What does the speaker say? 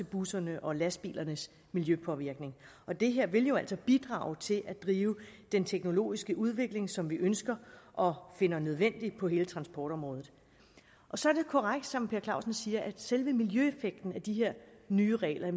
bussernes og lastbilernes miljøpåvirkning og det her vil jo altså bidrage til at drive den teknologiske udvikling som vi ønsker og finder nødvendig på hele transportområdet så er det korrekt som herre per clausen siger at selve miljøeffekten af de her nye regler